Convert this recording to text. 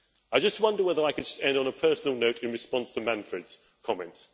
I just wonder whether I could end on a personal note, in response to Manfred's comments.